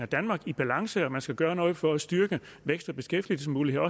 danmark i balance og at man skal gøre noget for også at styrke vækst og beskæftigelsesmuligheder